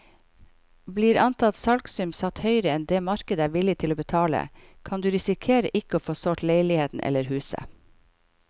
Blir antatt salgsum satt høyere enn det markedet er villig til å betale, kan du risikere ikke å få solgt leiligheten eller huset.